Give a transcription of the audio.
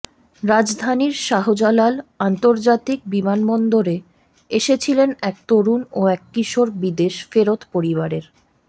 রাজধানীর শাহজালাল আন্তর্জাতিক বিমানবন্দরে এসেছিলেন এক তরুণ ও এক কিশোর বিদেশ ফেরত পরিবারের